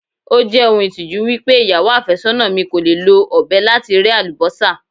Ó jẹ́ ohun ìtìjú wípé ìyàwó àfẹ́sọ́nà mi kò lè lo ọ̀bẹ láti rẹ́ Àlùbọ́sà.